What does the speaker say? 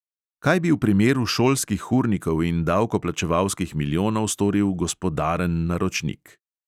Kaj bi v primeru šolskih urnikov in davkoplačevalskih milijonov storil gospodaren naročnik?